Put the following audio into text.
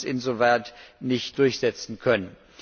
Wir haben uns insoweit nicht durchsetzen können.